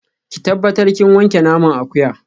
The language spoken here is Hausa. Ki tabbatar kin wanke naman akuya